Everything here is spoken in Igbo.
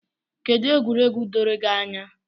Kedụ egwuregwu doro gị anya?